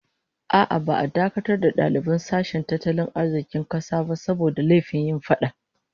A'a, ba'a dakatar da daliban sashen tattalin arzikin kasa ba saboda laifin yin fada